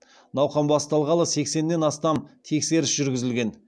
науқан басталғалы сексеннен астам тексеріс жүргізілген